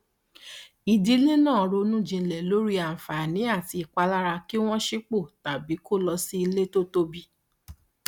ìdílé náà ronú jinlẹ lórí àǹfààní àti ìpalára kí wọn sípò tàbí kó lọ sí ilé tó tóbi